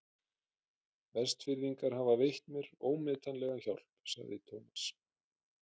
Vestfirðingar hafa veitt mér ómetanlega hjálp sagði Thomas.